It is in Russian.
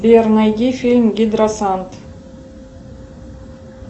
сбер найди фильм гидросант